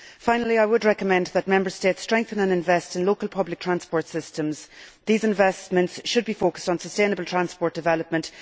Finally I would recommend that Member States strengthen and invest in local public transport systems. These investments should be focused on sustainable transport development.